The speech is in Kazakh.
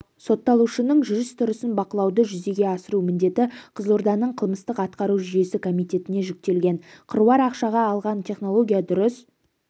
сотталушының жүріс-тұрысын бақылауды жүзеге асыру міндеті қызылорданың қылмыстық-атқару жүйесі комитетіне жүктелген қыруар ақшаға алған технология дұрыс